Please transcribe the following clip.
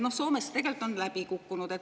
Soomes see on tegelikult läbi kukkunud.